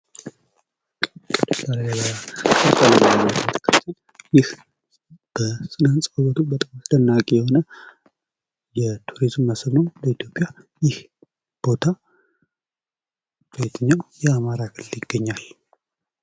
ይህ በስነ ህንፃ ውበቱ በጣም አስደናቂ የቱሪዝም መስህብ ነው በኢትዮጵያ ።ይህ ቦታ በየትኛው የአማራ ክልል ይገኛል?